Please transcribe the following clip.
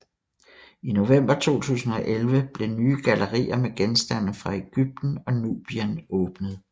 I november 2011 blev nye gallerier med genstande fra Egypten og Nubien åbnet